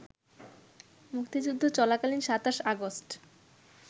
মুক্তিযুদ্ধ চলাকালীন ২৭ আগস্ট